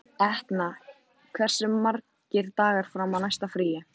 Etna, hversu margir dagar fram að næsta fríi?